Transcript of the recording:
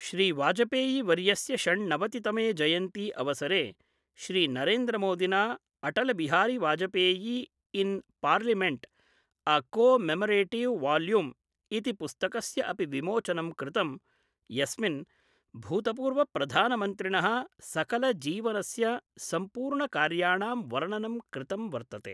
श्रीवाजपेयीवर्यस्य षण्णवतितमे जयन्ती अवसरे श्रीनरेन्द्रमोदिना Atal Bihari Vajpayee in parliament: a commemorative volume ' इति पुस्तकस्य अपि विमोचनं कृतम्, यस्मिन् भूतपूर्वप्रधानमन्त्रिण: सकलजीवनस्य सम्पूर्णकार्याणां वर्णनं कृतं वर्तते।